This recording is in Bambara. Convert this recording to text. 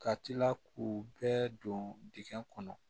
Ka tila k'u bɛɛ don dingɛ kɔnɔ